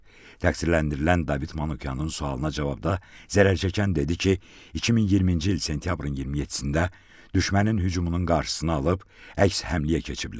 Təqsirləndirilən David Manukyanın sualına cavabda zərər çəkən dedi ki, 2020-ci il sentyabrın 27-də düşmənin hücumunun qarşısını alıb əks həmləyə keçiblər.